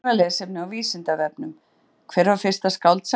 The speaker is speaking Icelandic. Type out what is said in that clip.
Frekara lesefni á Vísindavefnum: Hver var fyrsta skáldsagan?